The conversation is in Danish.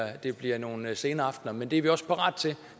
at det bliver nogle sene aftner men det er vi også parate til